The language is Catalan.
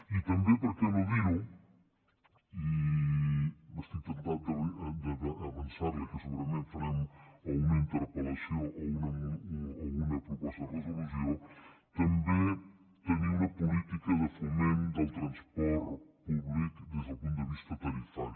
i també per què no dir ho i estic temptat d’avançar li que segurament farem o una interpel·lació o una proposta de resolució tenir una política de foment del transport públic des del punt de vista tarifari